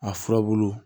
A furabulu